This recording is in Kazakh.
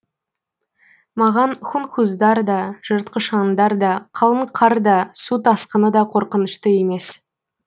маған хунхуздар да жыртқыш аңдар да қалың қар да су тасқыны да қорқынышты емес